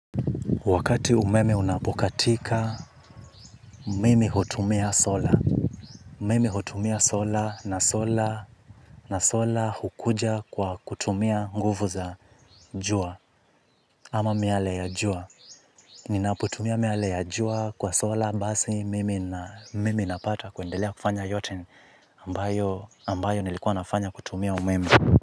Wakati umeme unapokatika, mimi hutumia sola. Mimi hutumia sola na sola hukuja kwa kutumia nguvu za jua ama miale ya jua. Ninapotumia miale ya jua kwa sola basi mimi napata kuendelea kufanya yote ambayo nilikuwa nafanya kutumia umeme.